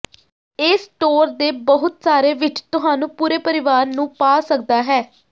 ਇਹ ਸਟੋਰ ਦੇ ਬਹੁਤ ਸਾਰੇ ਵਿੱਚ ਤੁਹਾਨੂੰ ਪੂਰੇ ਪਰਿਵਾਰ ਨੂੰ ਪਾ ਸਕਦਾ ਹੈ